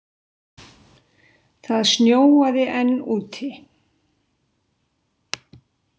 Það snjóaði enn úti.